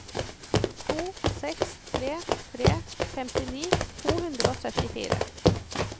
to seks tre tre femtini to hundre og syttifire